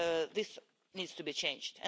This needs to be changed.